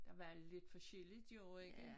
Der var lidt forskelligt jo ikke